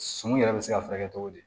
Sun yɛrɛ bɛ se ka furakɛ cogo di